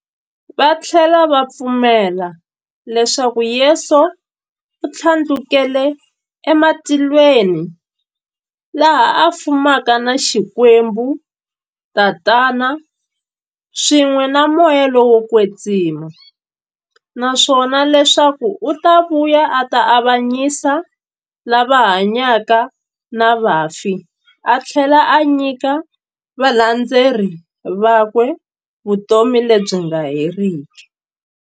Vathlela va pfumela leswaku Yesu u thlandlukele e matilweni, laha a fumaka na Xikwembu-Tatana, swin'we na Moya lowo kwetsima, naswona leswaku u ta vuya a ta avanyisa lava hanyaka na vafi athlela a nyika valandzeri vakwe vutomi lebyi nga heriki.